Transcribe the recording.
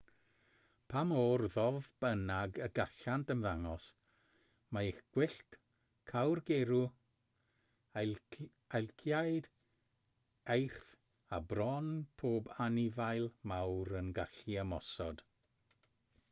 pa mor ddof bynnag y gallant ymddangos mae ych gwyllt cawrgeirw elciaid eirth a bron pob anifail mawr yn gallu ymosod